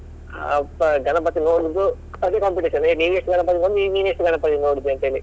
ಹಬ್ಬ ಗಣಪತಿ ನೋಡುದು ಅದೇ competition ಏ ನೀನ್ ಎಷ್ಟು ಗಣಪತಿ ನೋಡಿದೆ ನೀನು ಎಷ್ಟು ಗಣಪತಿ ನೋಡಿದೆ ಅಂತ ಹೇಳಿ.